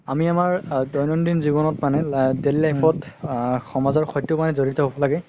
আমি আমাৰ দৈনন্দিন জীৱনত মানে daily life ত আ সমাজৰ সৈতে জৰিত হব লাগে